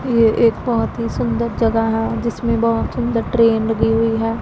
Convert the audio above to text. ये एक बहोत ही सुंदर जगह है जिसमें बहोत सुंदर ट्रेन लगी हुई है।